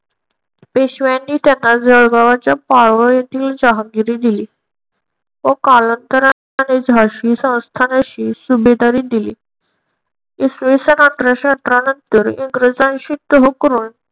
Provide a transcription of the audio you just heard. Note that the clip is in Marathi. पेशव्यांनी त्यांना जळगावच्या पारवा येथील जहागिरी दिली. व कालांतराने झाशी संस्थान अशी सुभेदारी दिली. इसवीसन अठराशे अठरा नंतर इंग्रजांशी तह करून